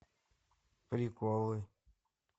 приколы